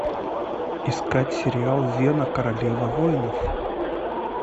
искать сериал зена королева воинов